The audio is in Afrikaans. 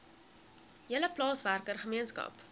hele plaaswerker gemeenskap